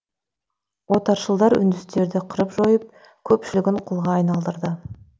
отаршылдар үндістерді қырып жойып көпшілігін құлға айналдырды